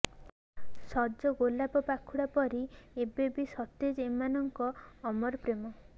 ସଜ ଗୋଲାପ ପାଖୁଡ଼ା ପରି ଏବେ ବି ସତେଜ ଏମାନଙ୍କ ଅମର ପ୍ରେମ